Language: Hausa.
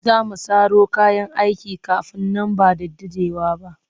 Za mu saro kayan aikin kafinta nan ba da daɗewa ba